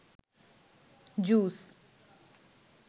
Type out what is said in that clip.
juice